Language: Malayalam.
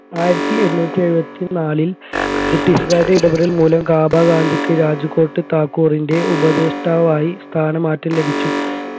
ആയിരത്തി എണ്ണൂറ്റി എഴുപത്തി നാലിൽ british കാരുടെ ഇടപെടൽ മൂലം കാബ ഗാന്ധിക്ക് രാജ്കോട്ട് താക്കൂറിൻറെ ഉപദേഷ്ടാവായി സ്ഥാനമാറ്റം ലഭിച്ചു